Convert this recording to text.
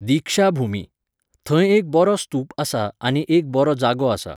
दीक्षा भूमी . थंय एक बरो स्तूप आसा आनी एक बरो जागो आसा